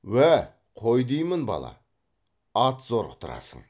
уә қой деймін бала ат зорықтырасың